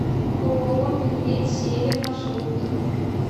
ооо медведь север маршрут